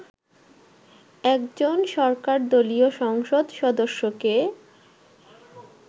একজন সরকারদলীয় সংসদ সদস্যকে